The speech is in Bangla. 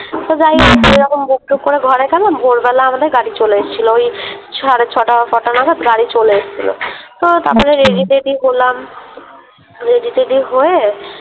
তো যাইহোক ওইরকম Book টুক করে ঘরে গেলাম ভোরবেলা আমাদের গাড়ি চলে এসছিলো ওই সাড়ে ছটা কটা নাগাদ গাড়ি চলে এসছিলো। তো তারপরে Ready টেডি হলাম Ready টেডি হয়ে